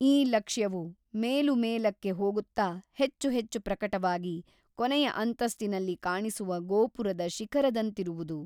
ಈ ಲಕ್ಷ್ಯವು ಮೇಲುಮೆಲಕ್ಕೆ ಹೋಗುತ್ತಾ ಹೆಚ್ಚು ಹೆಚ್ಚು ಪ್ರಕಟವಾಗಿ ಕೊನೆಯ ಅಂತಸ್ತಿನಲ್ಲಿ ಕಾಣಿಸುವ ಗೋಪುರದ ಶಿಖರದಂತಿರುವುದು.